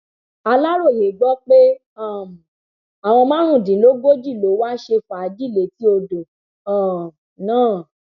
aláròye gbọ pé um àwọn márùndínlógójì ló wáá ṣe fàájì létí odò um náà